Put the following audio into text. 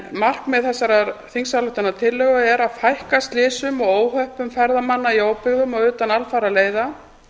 markmið þessarar þingsályktunartillögu er að fækka slysum og óhöppum ferðamanna í óbyggðum og utan alfaraleiða